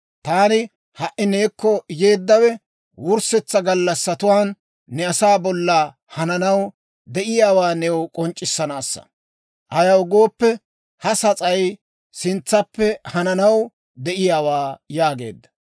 Taani ha"i neekko yeeddawe, wurssetsa gallassatuwaan ne asaa bolla hananaw de'iyaawaa new k'onc'c'issanaassa; ayaw gooppe, ha sas'ay sintsappe hananaw de'iyaawaa» yaageedda.